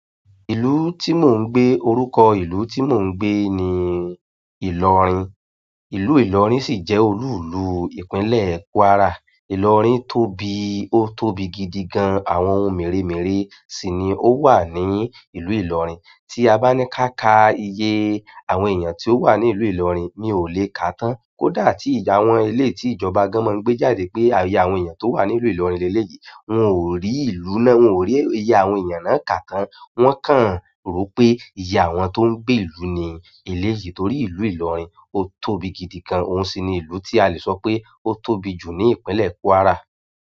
Ìlú tí mò ń gbé, orúkọ ìlú tí mò ń gbé ni Ìlọrin. Ìlú Ìlọrin sì jẹ́ olúùlú ìpínlẹ̀ Kwara. Ìlọrin tóbi, ó tóbi gidi gan-an. Àwọn ohun mèremère sì ni ó wà ní ìlú Ìlọrin. Tí a bá ní ká ka iye àwọn èèyàn tí ó wà ní ìlú Ìlọrin, mi ò lè kà á tán. Kódà tí ìdàwọn eléyìí tí ìjọba gan-an máa ń gbé jáde pé iye àwọn èèyàn tó wà ní ìlú Ìlọrin leléyìí, wọn ò rí ìlú náà, wọn ò rí iye àwọn èèyàn náà kà tán. Wọ́n kàn rò pé iye àwọn tó ń gbé ìlú ni eléyìí torí ìlú Ìlọrin ó tóbi gidi gan-an. Òun sì ni ìlú tí a lè sọ pé ó tóbi jù ní ìpínlẹ̀ Kwara.